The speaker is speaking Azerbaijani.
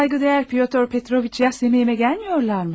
Sayğıdəyər Pyotr Petroviç ya Semiyon'ə gəlmirlər mi?